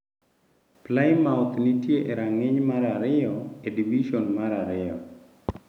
Plymouth, nitie e rang’iny mar ariyo e Divison mar Ariyo.